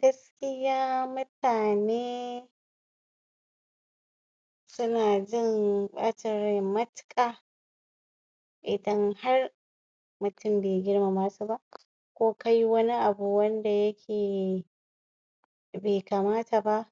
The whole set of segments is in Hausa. gaskiya mutane suna jin bacinrai matuka idan har mutum be girmamasu ba ko kayi wani abu wanda yake be kamata ba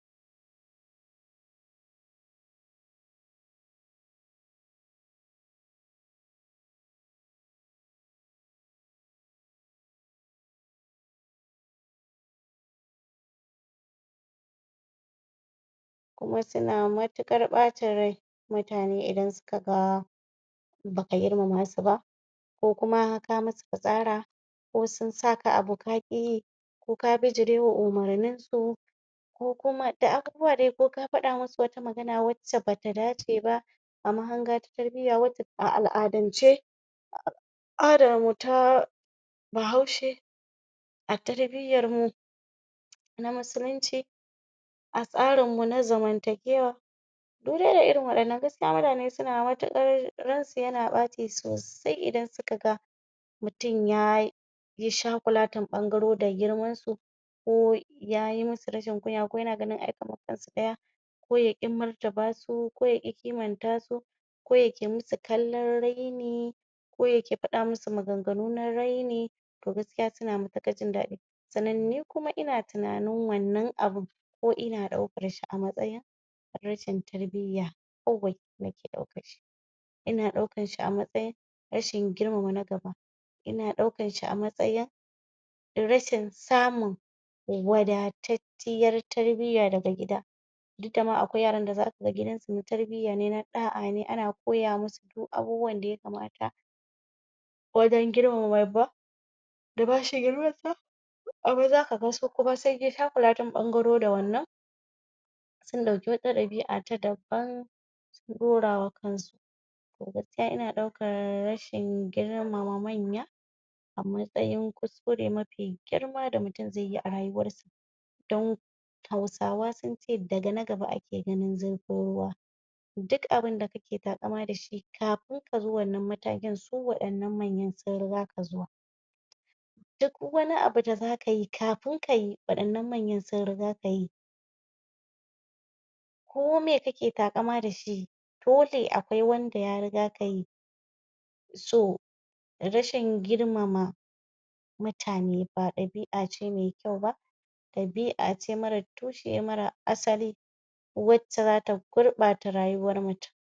kuma suna matukar ɓacin rai mutane idan suka ga baka girmamasu ba ko kuma ka musu fitsara ko sunsaka abu kaƙiyi ko ka bijirewa umarninsu ko kuma da abubuwa dai ko ka faɗa musu wata magana wacce bata dace ba a mahanga ta tarbiyya a al'adance al'adarmu ta bahaushe a tarbiyyarmu ta addini a tsarinmu na zaman takewa duk dai da irin waɗannan gaskiya mutane mutuƙar ransu yana ɓace sosai idan suka ga mutum yayi shagulatin ɓangaro da girmansu ko ya musu rashin kunya ko yana ganin a tsaya ko yaƙi ƙimantasu ko yaƙi martabasu ko yaƙi ƙimantasu ko yake musu kallan raini ko yake faɗa musu maganganu na raini to gaskiya suna mutukar jindaɗi sannan ni kuma ina tunanin wannan abun ko ina daukarshi a matsayin rashin tarbiyya ina ɗaukanshi a matsayin rashin girmama na gaba ina daukanshi a matsayin rashin samu wada cacciyar tarbiyya daga gida duk dama akwai yaran da zaka ga gidansu tarbiyya ne na ɗa'a ne ana koya musu abubuwan da ya kamata wajan girmama babba da bashi girmansa wasu zaka ga su kuma sunyi shaguratin ɓangaro da wannan sun ɗauki wata ɗabi'a ta daban sun ɗaurawa kansu to gaskiya ina daukan rashin girmama manya a matsayin kurkure mafi girma da mutum zaiyi a rayuwarshi dan hausawa sunce daga na gaba ake ganin zurfin ruwa duk abunda kake takama dashi kafin kazo wannan matakin su waɗannan manyan sun rigaka zuwa duk wani abu da zakayi kafin kayi waɗannan manya sun rigaka yi ko me kake takama dashi dole akwai wanda ya rigaka yi to rashin girmama rashin girmama mutane ba ɗabi'a ce me kyau ba ɗabi'a ce mara tushe mara asali wacce zata gurɓata rayuwar mutum.